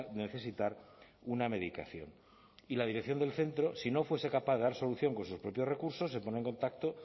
necesitar una medicación y la dirección del centro si no fuese capaz de dar solución con sus propios recursos se pone en contacto